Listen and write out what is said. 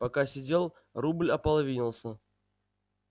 пока сидел рубль ополовинился